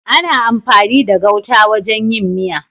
Ana amfani da gauta wajen yin miya.